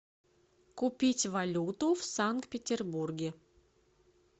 купить валюту в санкт петербурге